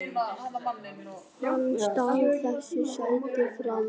Hann stal þessu sæti frá mér!